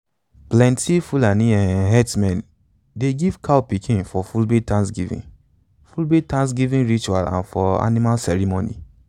plenti fulani um herdsmen dey give cow pikin for fulbe thanksgiving fulbe thanksgiving ritual and for animal ceremony.